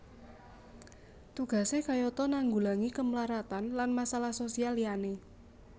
Tugasé kayata nanggulangi kemlaratan lan masalah sosial liyané